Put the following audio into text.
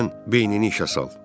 İndi sən beynini işə sal.